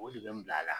O de bɛ n bila a la